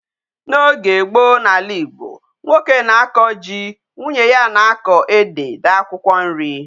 N'oge gboo n'ala Igbo, nwoke na-ako ji, nwunye ya a na-ako ede na akwukwo nri.